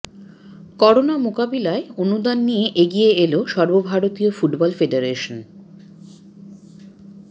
corona মোকাবিলায় অনুদান নিয়ে এগিয়ে এল সর্বভারতীয় ফুটবল ফেডারেশন